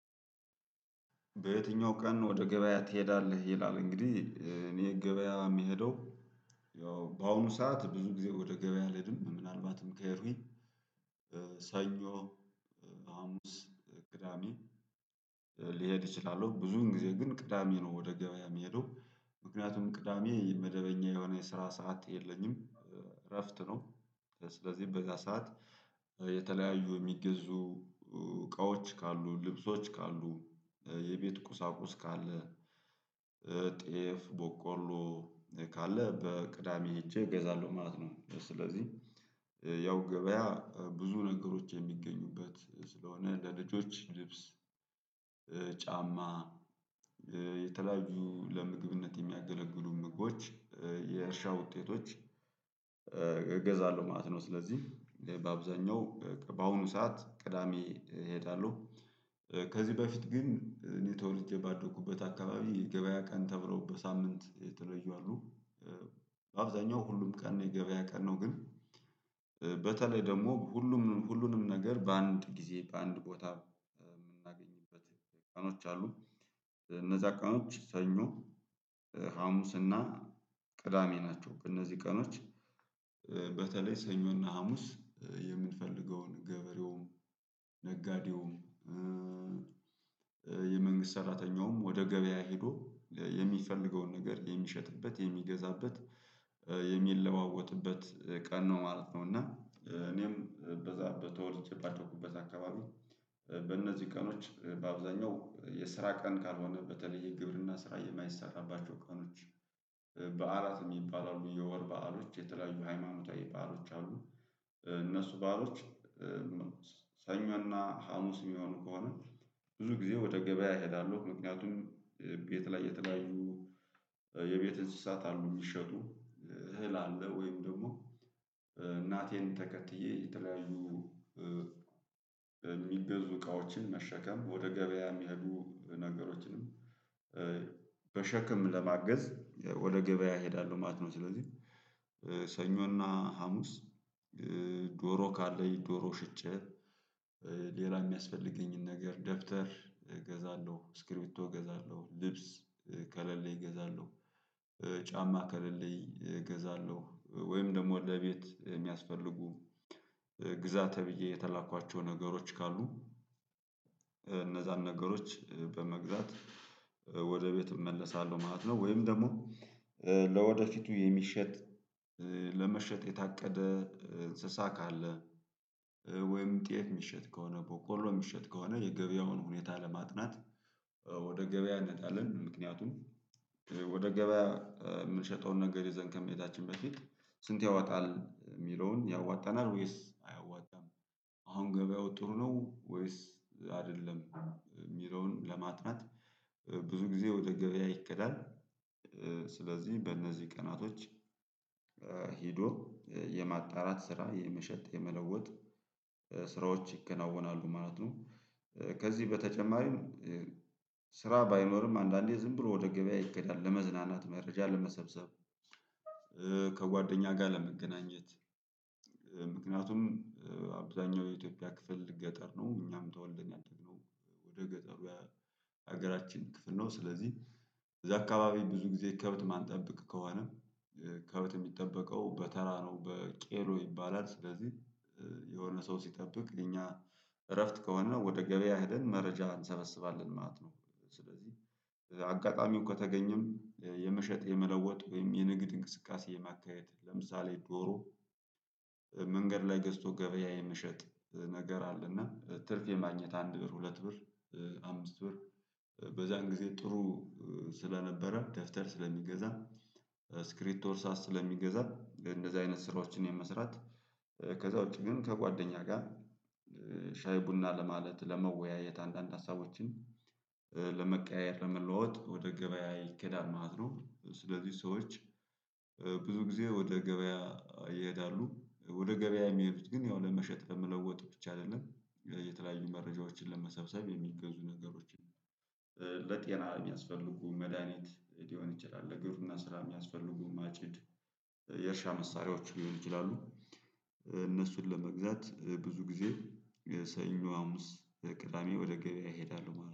በየትኛው ቀን ወደ ገበያ ትሄዳለህ? ይላል እንግዲህ እኔ ገበያ የምሄደው ያው በአሁኑ ሰዓት ብዙ ጊዜ ወደ ገበያ አልሄድም። ምናልባትም ከሄድኩኝ ሳኞ ሀሙስ፣ ቅዳሜ ልሄድ እችላለሁ። ብዙ ጊዜ ግን ቅዳሜ ነው ወደ ገበያ የምሄደው። ምክንያቱም ቅዳሜ የመደበኛ የሆነ የስራ ሰዓት የለኝም እረፍት ነው። ስለዚህ በዛ ሰዓት የተለያዩ የሚገዙ እቃዎች ካሉ፣ ልብሶች ካሉ፣ የቤት ቁሳቁስ ካለ፣ ጤፍ፣ ቦቆሎ ካለ በቅዳሜ ሄጄ እገዛለሁ ማለት ነው። ስለዚህ ያው ገበያ ብዙ ነገሮች የሚገኙበት ስለሆነ ለልጆች ልብስ ጫማ የተለያዩ ለምግብነት የሚያገለግሉ ምግቦች የእርሻ ውጤቶች እገዛለሁ ማለት ነው። ስለዚህ በአብዛኛው በአሁኑ ሰዓት ቅዳሜ እሄዳለሁ። ከዚህ በፊት ግን እኔ ተወልጄ ባደኩበት አካባቢ ገበያ ቀን ተብሎ በሳምንት የተለዩ አሉ። አብዛኛው ሁሉም ቀን የገበያ ቀን ነው። ግን በተለይ ደግሞ ሁሉም ሁሉንም ነገር በአንድ ጊዜ በአንድ ቦታ የምናገኝበት ቀኖች አሉ። እነዛ ቀኖች ሰኞ፣ ሀሙስ እና ቅዳሜ ናቸው። እነዚህ ቀኖች በተለይ ሰኞ እና ሀሙስ የምንፈልገውን ገበሬውም ነጋዴውም የመንግስት ሰራተኛውም ወደ ገበያ ሄዶ የሚፈልገውን ነገር የሚሸጥበት የሚገዛበት የሚለዋወጥበት ቀን ነው ማለት ነው። እና እኔም በዛ በተወልጄ ባደኩበት አካባቢ በእነዚህ ቀኖች በአብዛኛው የስራ ቀን ካልሆነ በተለየ የግብርና ስራ የማይሰራባቸው ቀኖች በዕላት የሚባል አሉ። የወር በዓሎች የተለያዩ ሃይማኖታዊ በዓሎች አሉ። እነሱ ባዕሎች ሰኞ እና ሀሙስ የሚሆኑ ከሆነ ብዙ ጊዜ ወደ ገበያ እሄዳለሁ። ምክንያቱም ቤት ላይ የተለያዩ የቤት እንስሳት አሉ የሚሸጡ እህል አለ ወይም ደግሞ እናቴን ተከትዬ የተለያዩ የሚገዙ እቃዎችን መሸከም ወደ ገበያ የሚሄዱ ነገሮችንም በሸክም ለማገዝ ወደ ገበያ እሄዳለሁ ማለት ነው። ስለዚህ ሰኞ እና ሀሙስ ዶሮ ካለኝ ዶሮ ሸጬ ሌላ የሚያስፈልገኝን ነገር ደብተር እገዛለሁ ስክሪፕቶ እገዛለሁ ልብስ ከሌለኝ እገዛለሁ ጫማ ከሌለኝ እገዛለሁ ወይም ደግሞ ለቤት የሚያስፈልጉ ግዛ ተብዬ የተላኳቸው ነገሮች ካሉ እነዛን ነገሮች በመግዛት ወደ ቤት እመለሳለሁ ማለት ነው። ወይም ደግሞ ለወደፊቱ የሚሸጥ ለመሸጥ የታቀደ እንስሳ ካለ ወይም ጤፍ የሚሸጥ ከሆነ ቦቆሎ የሚሸጥ ከሆነ የገበያውን ሁኔታ ለማጥናት ወደ ገበያ እንወጣለን። ምክንያቱም ወደ ገበያ የምንሸጠውን ነገር ይዘን ከመሄዳችን በፊት ስንት ያወጣል የሚለውን ያዋጣናል ወይስ አያዋጣንም አሁን ገበያው ጥሩ ነው ወይስ አይደለም የሚለውን ለማጥናት ብዙ ጊዜ ወደ ገበያ ይክዳል። ስለዚህ በእነዚህ ቀናቶች ሄዶ የማጣራት ስራ የመሸጥ የመለወጥ ስራዎች ይከናወናሉ ማለት ነው። ከዚህ በተጨማሪም ስራ ባይኖርም አንድአንዴ ዝም ብሎ ወደ ገበያ ይኬዳል። ለመዝናናት፣ መረጃ ለመሰብሰብ፣ ከጓደኛ ጋር ለመገናኘት ምክንያቱም አብዛኛው የኢትዮጵያ ክፍል ገጠር ነው። እኛም ተወልደን ያደግነው በገጠሩ የሀገራችን ክፍል ነው። ስለዚህ እዛ አካባቢ ብዙ ጊዜ ከብት ማንጠብቅ ከሆነ ከብት የሚጠበቀው በተራ ነው በቄሎ ይባላል። ስለዚህ የሆነ ሰው ሲጠብቅ የኛ እረፍት ከሆነ ወደ ገበያ ሄደን መረጃ እንሰበስባለን ማለት ነው። ስለዚህ አጋጣሚው ከተገኘም የመሸጥ የመለወጥ ወይም የንግድ እንቅስቃሴ የማካሄድ ለምሳሌ ዶሮ መንገድ ላይ ገዝቶ ገበያ የመሸጥ ነገር አለና ትርፍ የማግኘት አንድ ብር ሁለት ብር አምስት ብር በዛን ጊዜ ጥሩ ስለነበረ ደብተር ስለሚገዛ ስክሪፕቶ እርሳስ ስለሚገዛ እንደዚህ አይነት ስራዎችን የመስራት ከዛ ውጪ ግን ከጓደኛ ጋር ሻይ ቡና ለማለት ለመወያየት አንድአንድ ሀሳቦችን ለመቀያየር ለመለዋወጥ ወደ ገበያ ይኬዳል ማለት ነው። ስለዚህ ሰዎች ብዙ ጊዜ ወደ ገበያ ይሄዳሉ። ወደ ገበያ የሚሄዱት ግን ያው ለመሸጥ ለመለወጥ ብቻ አይደለም የተለያዩ መረጃዎችን ለመሰብሰብ የሚገዙ ነገሮች አሉ። በጤና የሚያስፈልጉ መድሃኒት ሊሆን ይችላል ለግብርና ስራ የሚያስፈልጉ ማጭድ የእርሻ መሳሪያዎች ሊሆን ይችላሉ እነሱን ለመግዛት ብዙ ጊዜ የሰኞ፣ ሀሙስ፣ የቅዳሜ ወደ ገበያ እሄዳለሁ ማለት ነው።